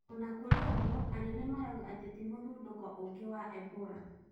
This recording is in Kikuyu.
Ona kũrĩ ũguo, Anene marouga atĩ ti mũthũnũko ungĩ wa Ebora